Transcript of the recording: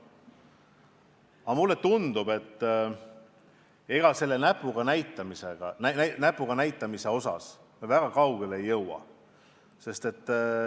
Aga mulle tundub, et me selle näpuga näitamisega väga kaugele ei jõua.